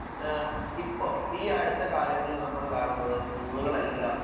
smart ക്ലാസ്സുകളുടെ ആവട്ടെ അങ്ങനെ ഒരുപാട്